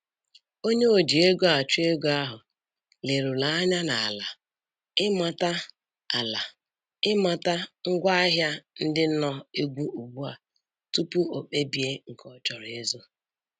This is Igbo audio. Onye o ji ego achụ ego ahụ leruru anya ala ịmata ala ịmata ngwa ahịa ndị nọ egwu ugbu a tupu o kpebie nke ọ chọrọ ịzụ